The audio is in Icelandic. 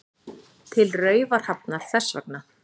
Til Raufarhafnar þess vegna.